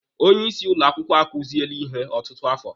Onye isi ụlọ akwụkwọ akuziele ihe ọtụtụ afọ.